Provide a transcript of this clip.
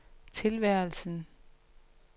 tilværelsen